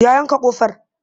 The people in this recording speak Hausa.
Ya yanka ƙofar?